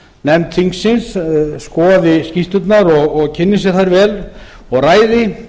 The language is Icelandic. nefnd þingsins skoði skýrslurnar og kynni sér þær vel og ræði